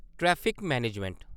traffic - management